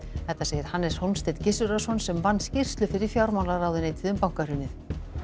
þetta segir Hannes Hólmsteinn Gissurarson sem vann skýrslu fyrir fjármálaráðuneytið um bankahrunið